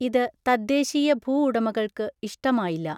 ഇത് തദ്ദേശീയ ഭൂഉടമകൾക്ക് ഇഷ്ടമായില്ല.